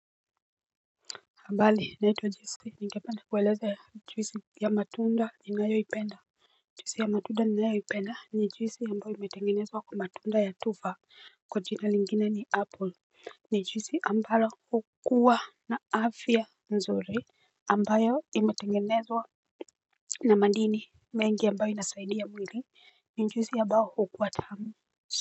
Mbali naitwa jeske ningepanda kueleza juisi ya matunda ni nayo ipenda juisi ya matunda ni nayo ipenda ni juisi ambayo imetengenezwa kwa matunda ya tufa kwa jina lingine ni apple. Ni juisi ambalo hukua na afya nzuri ambayo imetengenezwa na madini mengi ambayo inasaidia mwili ni njuisi ambao hukua tamu.